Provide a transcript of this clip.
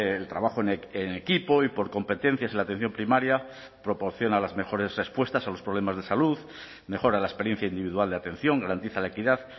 el trabajo en equipo y por competencias en la atención primaria proporciona las mejores respuestas a los problemas de salud mejora la experiencia individual de atención garantiza la equidad